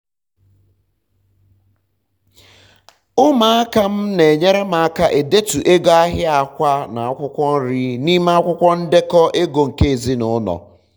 ụmụaka m n'enyere m aka edetu ego ahịa akwá na akwụkwọ nrị n'ime akwụkwọ ndeko ego nke ezinụlọ